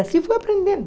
E assim fui aprendendo.